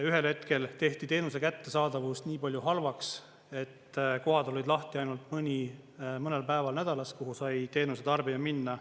Ühel hetkel tehti teenuse kättesaadavus nii palju halvaks, et kohad olid lahti ainult mõnel päeval nädalas, kuhu sai teenuse tarbija minna.